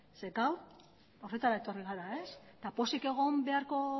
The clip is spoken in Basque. zeren gaur horretara etorri gara eta pozik egon beharko